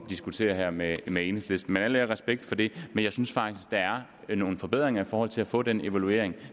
diskutere med enhedslisten her men al ære og respekt for det jeg synes faktisk der er nogle forbedringer i forhold til at få den evaluering